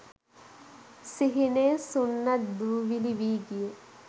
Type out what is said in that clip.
සිහිනය සුන්නද්දූවිලි වී ගිය